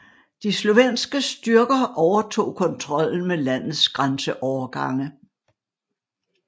De slovenske styrker overtog kontrollen med landets grænseovergange